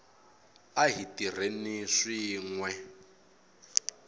a hi tirheni swin we